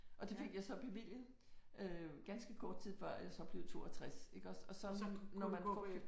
Og det fik jeg så bevilget øh ganske kort tid før jeg så blev 62 iggås og så kunne man få